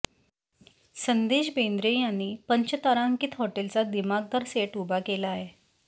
संदेश बेंद्रे यांनी पंचतारांकीत हॉटेलचा दिमाखदार सेट उभा केलाय